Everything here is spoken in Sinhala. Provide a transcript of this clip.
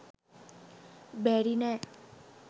බැරි නෑ.